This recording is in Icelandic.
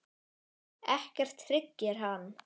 Ekkert hryggir hann.